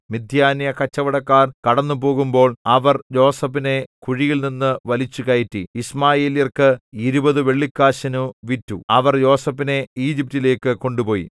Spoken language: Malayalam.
മിദ്യാന്യകച്ചവടക്കാർ കടന്നുപോകുമ്പോൾ അവർ യോസേഫിനെ കുഴിയിൽനിന്നു വലിച്ചുകയറ്റി യിശ്മായേല്യർക്ക് ഇരുപതു വെള്ളിക്കാശിനു വിറ്റു അവർ യോസേഫിനെ ഈജിപ്റ്റിലേക്കു കൊണ്ടുപോയി